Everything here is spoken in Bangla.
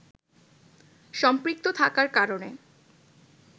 সম্পৃক্ত থাকার কারণে